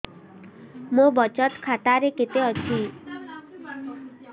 ମୋ ବଚତ ଖାତା ରେ କେତେ ଅଛି